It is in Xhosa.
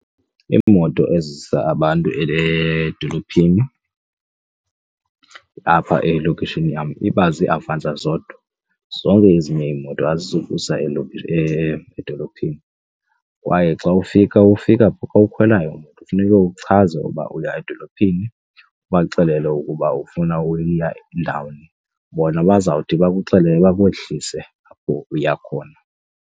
Iimoto ezisa abantu edolophini apha elokishini yam iba ziiAvanza zodwa, zonke ezinye iimoto azizukusa edolophini kwaye xa ufika ufika ukhwelayo imoto kufuneke uchaze ukuba uya edolophini ubaxelele ukuba ufuna uya ndawoni. Bona bazawuthi bakuxelele bakwehlise apho uya khona.